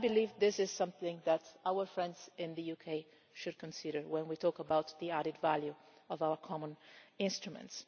And I believe this is something that our friends in the UK should consider when we talk about the added value of our common instruments.